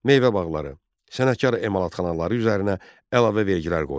Meyvə bağları, sənətkar emalatxanaları üzərinə əlavə vergilər qoyuldu.